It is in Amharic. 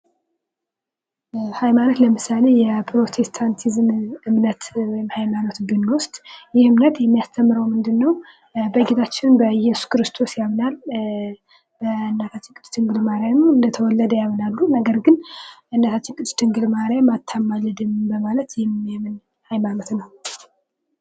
ሃይማኖት ለምሳሌ የፕሮቴስታንቲዝም እምነት ወይም ሃይማኖት ብንውስድ ይህ እምነት የሚያስተምረው ምንድነው በጌታችን በኢየሱስ ክርስቶስ ያምናል በእናታችን ቅድስት ድንግል ማርያም እንደተወለደ ያምናሉ ነገር ግን በእናታችን ቅድስት ድንግል ማርያም አታማልድም በማለት የሚያምን ሃይማኖት ነው።